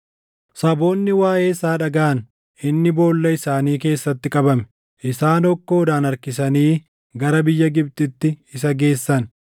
Saboonni waaʼee isaa dhagaʼan; inni boolla isaanii keessatti qabame. Isaan hokkoodhaan harkisanii gara biyya Gibxitti isa geessan.